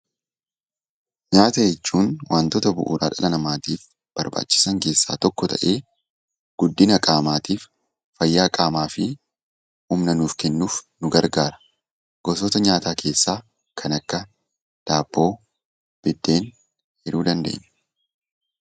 Nyaata jechuun waantota bu'uura dhala namaatiif barbaachisan keessaa tokko ta'ee, guddina qaamaatiif, fayyaa qaamaa fi humna nuuf kennuuf nu gargaara. Gosoota nyaataa keessaa kan akka daabboo, biddeen jedhuu dandeenya.